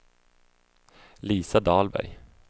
Lisa Dahlberg